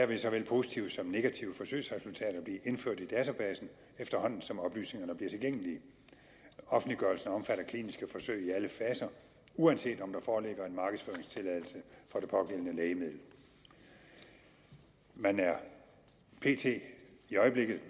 vil såvel positive som negative forsøgsresultater blive indført i databasen efterhånden som oplysningerne bliver tilgængelige offentliggørelsen omfatter kliniske forsøg i alle faser uanset om der foreligger en markedsføringstilladelse for det pågældende lægemiddel man er i øjeblikket